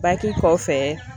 kɔfɛ